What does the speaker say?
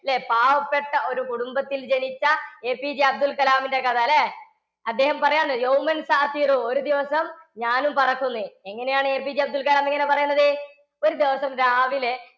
പാവപ്പെട്ട ഒരു കുടുംബത്തിൽ ജനിച്ച APJ അബ്ദുൽ കലാമിന്റെ കഥയല്ലേ? അദ്ദേഹം പറയുവാണ് ഒരു ദിവസം ഞാനും പറക്കും എന്ന്. എങ്ങനെയാണ് APJ അബ്ദുൽ കലാം ഇങ്ങനെ പറയുന്നത്? ഒരു ദിവസം രാവിലെ